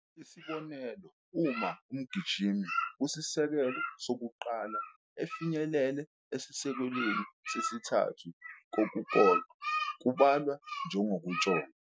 Isibonelo, uma umgijimi kusisekelo sokuqala efinyelele isisekelo sesithathu kokukodwa, kubalwa njengokutshontsha.